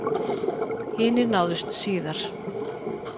Hinir náðust síðar